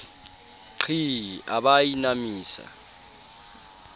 qhii a ba a inamisa